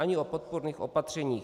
Ani o podpůrných opatřeních.